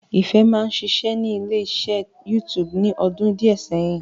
Ìfẹ́ máa ń ṣiṣẹ́ ní ilé iṣẹ́ YouTube ní ọdún díẹ̀ sẹ́yìn